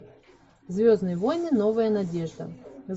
звездные войны новая надежда